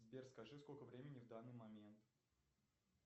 сбер скажи сколько времени в данный момент